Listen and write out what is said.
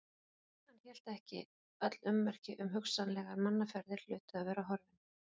Hann hélt ekki, öll ummerki um hugsanlegar mannaferðir hlutu að vera horfin.